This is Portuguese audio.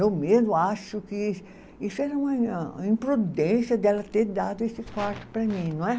Eu mesma acho que isso era uma imprudência dela ter dado esse quarto para mim, não é?